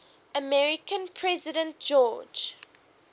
american president george